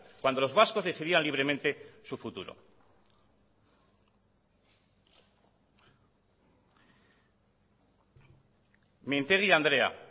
cuando los vascos decidían libremente su futuro mintegi andrea